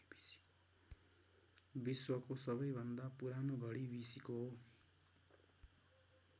विश्वको सबैभन्दा पुरानो घडी बी सीको हो।